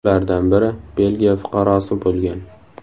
Ulardan biri Belgiya fuqarosi bo‘lgan.